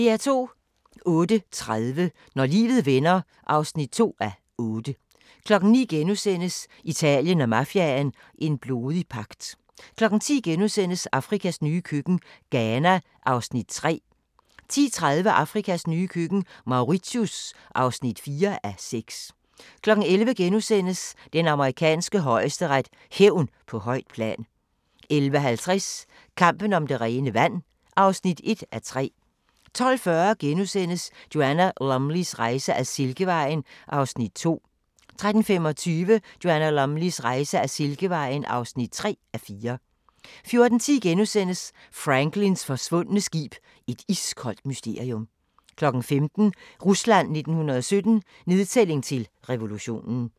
08:30: Når livet vender (2:8) 09:00: Italien og mafiaen – en blodig pagt * 10:00: Afrikas nye køkken – Ghana (3:6)* 10:30: Afrikas nye køkken – Mauritius (4:6) 11:00: Den amerikanske højesteret: Hævn på højt plan * 11:50: Kampen om det rene vand (1:3) 12:40: Joanna Lumleys rejse ad Silkevejen (2:4)* 13:25: Joanna Lumleys rejse ad Silkevejen (3:4) 14:10: Franklins forsvundne skib – et iskoldt mysterium * 15:00: Rusland 1917 – nedtælling til revolution